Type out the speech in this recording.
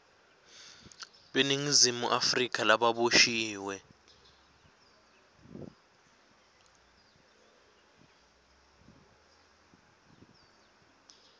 beningizimu afrika lababoshiwe